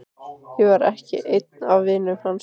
Ég var ekki einn af vinum hans.